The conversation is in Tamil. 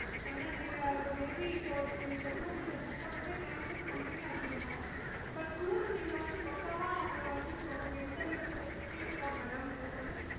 ஏன்னா நீங்க இப்போ maybe இப்போ tour நீங்க book பண்ணிட்டு cancel பண்றீங்க அப்பிடின்னா but toor நீங்க வந்து பக்காவா உங்கள நாங்க கூட்டிட்டு போவோம் உங்களுக்கு எந்த விதமான பிரெச்சனையும் இருக்காது